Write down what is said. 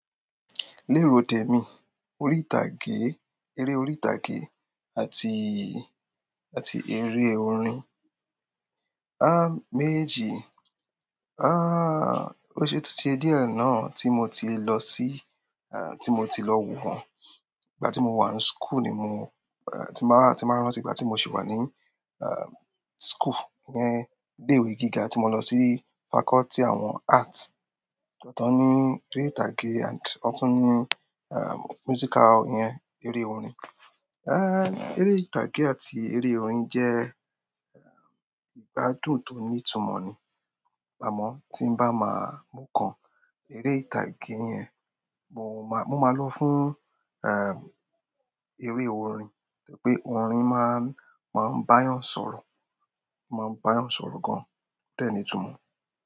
Lérò temi, orí ìtàgé, eré orí ìtàgé àti, àti eré orin. Ah méjì, ah o ṣe ó ti di ẹ di ẹ náà tí mo ti lọ sí, ah tí mo ti lọ wo wọ́n. Ìgbà tí mo wà ní school ni mo, ah ti máa, ti máa rántí ìgbà tí mo sì wà ní ah school, ní ilé ìwé gíga tí mo lọ sí faculty àwọn arts. Ọ̀tọ̀ọ̀tọ̀ ni eré ìtàgé and ọ̀tún-ún ni ah musical yẹn, eré orin. Èrè ìtàgé àti eré orin jẹ ìgbádùn to ní ìtúmọ ni àmọ́ tí n bá máa mú kan, eré ìtàgé yẹn, mò máa, mo máa lò fún eré orin, nítorí pé orin máa, máa ń bá yàn sọ̀rọ̀, máa ń bá yàn sọ̀rọ̀ gan-an, bẹ́ẹ̀ ni ìtumọ̀.